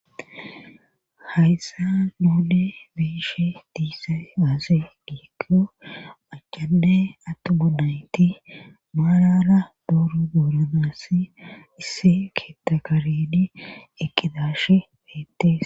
hayssa noode beishe diisa aase giikko pachade attu bonayti maalala dooro duuranaass isse keettakaredi eqqidashe beettes